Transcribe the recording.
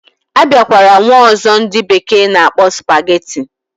Abiakwara nwe ozo ndi bekee na akpo spaghetti.